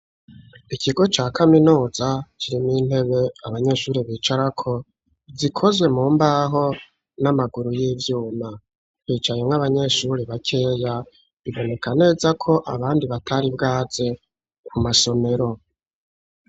Ikigo ca kaminuza kirimw' intebe abanyeshuri bicara ko gikozwe mu mbaho, n'amaguru y'ivyuma kwicaye nk'abanyeshuri bakeya biboneka neza ko abandi batari bwaze ku masomero.